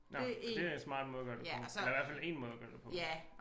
Nåh men det en smart måde at gøre det på eller i hvert fald én måde at gøre det på ik